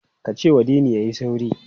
Ka cewa Dini ya yi sauri!